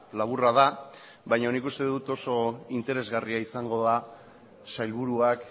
laburra da baino nik uste dut oso interesgarria izango da sailburuak